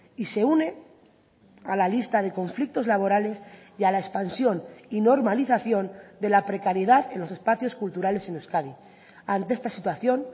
y se une a la lista de conflictos laborales y a la expansión y normalización de la precariedad en los espacios culturales en euskadi ante esta situación